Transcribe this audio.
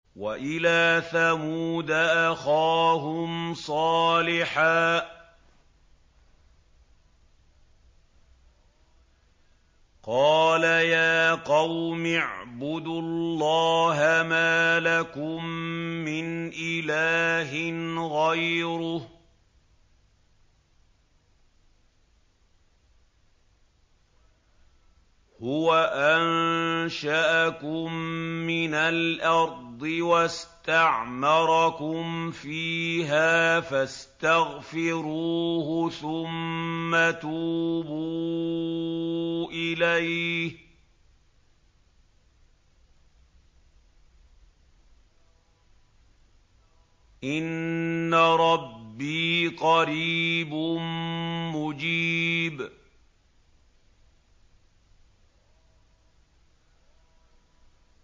۞ وَإِلَىٰ ثَمُودَ أَخَاهُمْ صَالِحًا ۚ قَالَ يَا قَوْمِ اعْبُدُوا اللَّهَ مَا لَكُم مِّنْ إِلَٰهٍ غَيْرُهُ ۖ هُوَ أَنشَأَكُم مِّنَ الْأَرْضِ وَاسْتَعْمَرَكُمْ فِيهَا فَاسْتَغْفِرُوهُ ثُمَّ تُوبُوا إِلَيْهِ ۚ إِنَّ رَبِّي قَرِيبٌ مُّجِيبٌ